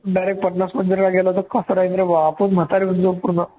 direct मंदिरला गेलो तर कसलं आहे बापरे आपण म्हातारे होऊन जाऊ पूर्ण